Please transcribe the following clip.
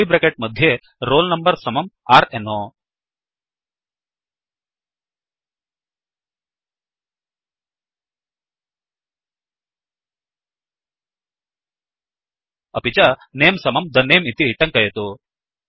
curly bracket मध्ये roll number समम् r no अपि च नमे समम् the name160 इति टङ्कयतु